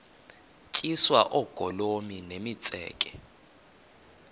tyiswa oogolomi nemitseke